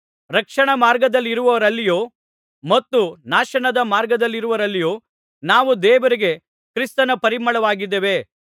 ರಕ್ಷಣಾ ಮಾರ್ಗದಲ್ಲಿರುವವರಲ್ಲಿಯೂ ಮತ್ತು ನಾಶನದ ಮಾರ್ಗದಲ್ಲಿರುವವರಲ್ಲಿಯೂ ನಾವು ದೇವರಿಗೆ ಕ್ರಿಸ್ತನ ಪರಿಮಳವಾಗಿದ್ದೇವೆ